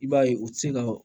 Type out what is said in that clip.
I b'a ye u ti se ka